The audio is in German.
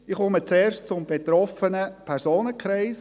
– Ich komme zuerst zum betroffenen Personenkreis.